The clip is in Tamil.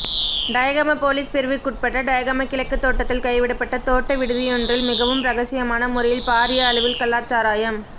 டயகம பொலிஸ் பிரிவுக்குட்பட்ட டயகம கிழக்கு தோட்டத்தில் கைவிடப்பட்ட தோட்ட விடுதியொன்றில் மிகவும் ரகசியமான முறையில் பாரிய அளவில் கள்ளச்சாராயம்